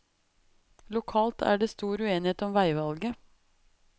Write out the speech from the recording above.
Lokalt er det stor uenighet om veivalget.